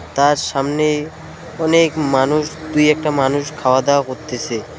তার সামনে অনেক মানুষ দুই একটা মানুষ খাওয়া দাওয়া করতেছে .